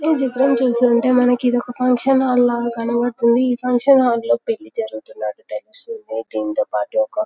ఈ చిత్రం చూస్తుంటే మనకు ఇది మనకు ఒక ఫంక్షన్ హాల్ లాగ కనపడుతుంది ఈ ఫంక్షన్ హాల్ లో పెళ్లి జరుగుతున్నట్లు తెలుస్తుంది దీనితో పాటు ఒక --